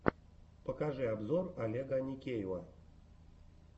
покажи обзор олега аникеева